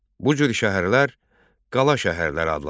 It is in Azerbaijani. Bu cür şəhərlər qala şəhərlər adlanırdı.